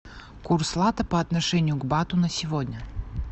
курс лата по отношению к бату на сегодня